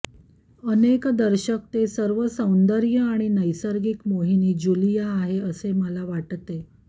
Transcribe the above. अनेक दर्शक ते सर्व सौंदर्य आणि नैसर्गिक मोहिनी जुलिया आहे असे मला वाटते